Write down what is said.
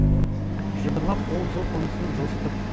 жыбырлап ол жыл қонысын жылжытып